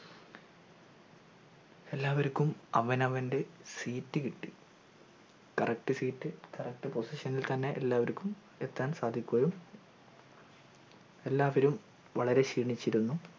എല്ലാർക്കും അവനവൻ്റെ seat കിട്ടി correct seatcorrect position ഇൽ തെന്നെ എല്ലാവർക്കും എത്താൻ സാധിക്കുകയും എല്ലാവരും വളരെ ക്ഷീണിച്ചിരുന്നു